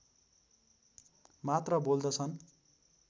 मात्र बोल्दछन्